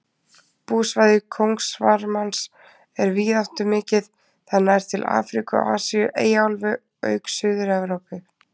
Búsvæði kóngasvarmans er víðáttumikið, það nær til Afríku, Asíu, Eyjaálfu auk Suður-Evrópu.